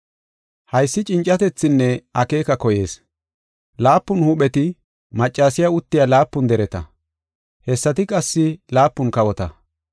“Haysi cincatethinne akeeka koyees. Laapun huupheti maccasiya uttiya laapun dereta; hessati qassi laapun kawota.